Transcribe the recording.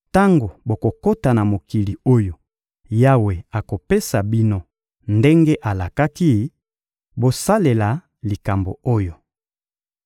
Tango bokokota na mokili oyo Yawe akopesa bino ndenge alakaki, bosalela likambo oyo.